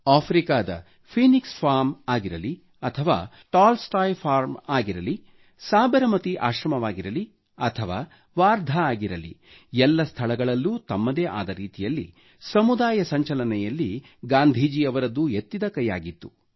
ಆಫ್ರಿಕಾದ Phoenix farm ಆಗಿರಲಿ ಅಥವಾ ಟೋಲ್ಸ್ ಟಾಯ್ ಫಾರ್ಮ್ ಆಗಿರಲಿ ಸಾಬರಮತಿ ಆಶ್ರಮವಾಗಿರಲಿ ಅಥವಾ ವಾರ್ಧಾ ಆಗಿರಲಿ ಎಲ್ಲ ಸ್ಥಳಗಳಲ್ಲೂ ತಮ್ಮದೇ ಆದ ರೀತಿಯಲ್ಲಿ ಸಮುದಾಯ ಸಂಚಲನೆಯಲ್ಲಿ ಗಾಂಧೀಜಿ ಅವರದ್ದು ಎತ್ತಿದ ಕೈಯಾಗಿತ್ತು